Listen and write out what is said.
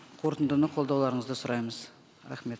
қорытындыны қолдауларыңызды сұраймыз рахмет